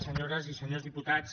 senyores i senyors diputats